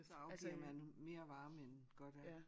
Så afgiver man mere varme end godt er